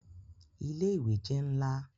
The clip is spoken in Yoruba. Ile-iwe jẹ nla